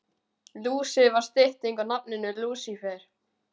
Lúsi var stytting á nafninu Lúsífer.